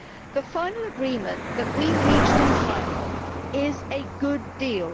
The final agreement that we reached in trialogue is a good deal.